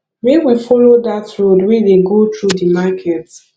make we folo dat road wey dey go through di market